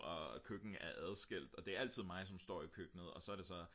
og køkken er adskilt og det er altid mig som står i køkkenet og så er det så